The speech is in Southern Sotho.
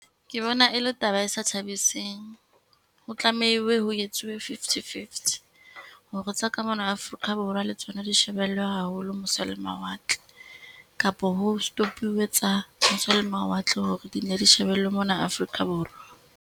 Ke bona e le taba e sa thabiseng, ho tlamehile ho etsuwe fifty-fifty. Hore tsa kamona Afrika Borwa le tsona di shebellwe haholo mose le mawatle, kapo ho stop-uwe tsa mose le mawatle hore di ne di shebellwe mona Afrika Borwa.